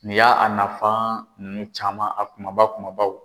Nin y'a nafa ninnu caman, a kumaba kumabaw.